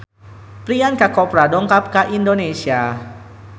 Priyanka Chopra dongkap ka Indonesia